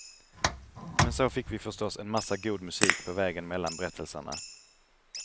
Men så fick vi förstås en massa god musik på vägen mellan berättelserna.